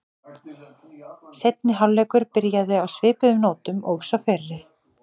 Seinni hálfleikur byrjaði á svipuðu nótum og sá fyrri.